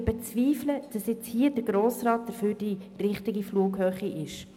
Wir bezweifeln jedoch, dass der Grosse Rat hier die richtige Flughöhe hat.